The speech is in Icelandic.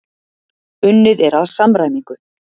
unnið er að samræmingu